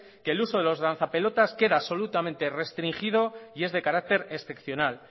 que el uso de los lanzapelotas queda absolutamente restringido y es de carácter excepcional